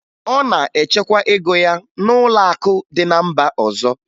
Ọ na-echekwa ego ya n'ụlọakụ dị na mba ọzọ